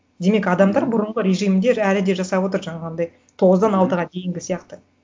демек адамдар бұрынғы режимде әлі де жасап отыр жаңағындай тоғыздан алтыға дейінгі сияқты